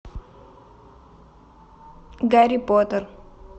гарри поттер